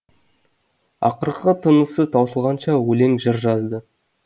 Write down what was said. ақырғы тынысы таусылғанша өлең жыр жазды